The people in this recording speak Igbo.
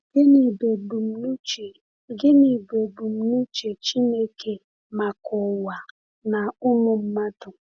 Gịnị bụ ebumnuche Gịnị bụ ebumnuche Chineke maka ụwa na ụmụ mmadụ?